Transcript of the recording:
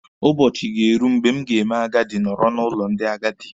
Ụbọchị ga-eru mgbe m ga-eme agadi nọrọ n'ụlọ ndị agadi.